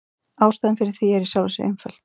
Ástæðan fyrir því er í sjálfu sér einföld.